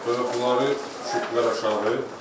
Bunları çütdülər aşağı.